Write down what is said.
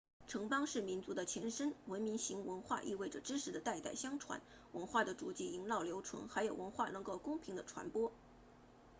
城邦是民族的前身文明型文化意味着知识的代代相传文化的足迹萦绕留存还有文化能够公平地传播